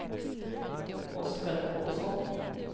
Oskar Paulsson